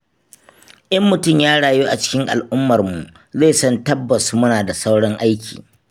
In mutum ya rayu a cikin al'ummarmu zai san tabbas muna da sauran aiki.